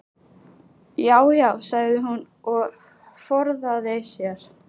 Já já, sagði hún og forðaði sér.